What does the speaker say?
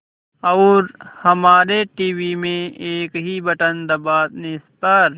और हमारे टीवी में एक ही बटन दबाने पर